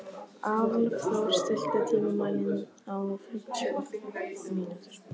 Álfþór, stilltu tímamælinn á fimmtíu og fimm mínútur.